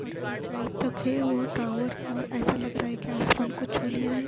اور اچھائی تک ہے اور ٹاور اور ایسا لگ رہا ہے کی آسمان کو چو لیا ہے۔